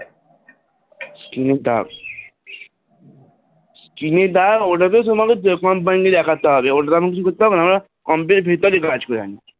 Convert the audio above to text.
Screen এ দাগ, screen এ দাগ ওটা তো তোমাকে Company কে দেখাতে হবে ও টা তো আমি কিছু করতে পারব না. আমাদের computer এর ভিতরে কাজ,